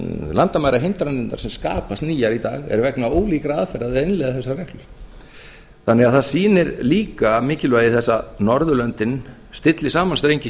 landamærahindranirnar sem skapast nýjar í dag eru vegna ólíkra aðferða við að innleiða þessar reglur þannig að það sýnir líka mikilvægi þess að norðurlöndin stilli saman strengi